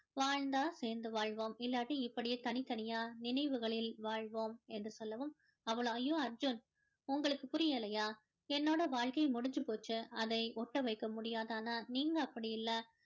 வாழ்ந்தா சேர்ந்து வாழ்வோம் இல்லாட்டி இப்படியே தனித்தனியா நினைவுகளில் வாழ்வோம் என்று சொல்லவும் அவள் அய்யோ அர்ஜுன் உங்களுக்கு புரியலையா என்னோட வாழ்க்கை முடிஞ்சு போச்சு அதை ஒட்ட வைக்க முடியாது ஆனால் நீங்கள் அப்படி இல்லை